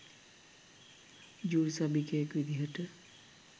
jury සභිකයෙක් විදිහට